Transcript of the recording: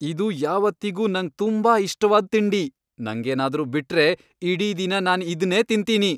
ಇದು ಯಾವತ್ತಿಗೂ ನಂಗ್ ತುಂಬಾ ಇಷ್ಟವಾದ್ ತಿಂಡಿ, ನಂಗೇನಾದ್ರೂ ಬಿಟ್ರೆ ಇಡೀ ದಿನ ನಾನ್ ಇದ್ನೇ ತಿಂತೀನಿ.